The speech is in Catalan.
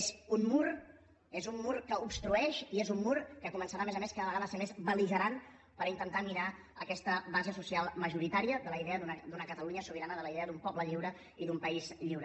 és un mur és un mur que obstrueix i és un mur que començarà a més a més cada vegada a ser més bel·ligerant per intentar minar aquesta base social majoritària de la idea d’una catalunya sobirana de la idea d’un poble lliure i d’un país lliure